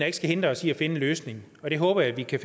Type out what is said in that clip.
ikke skal hindre os i at finde en løsning og det håber jeg vi kan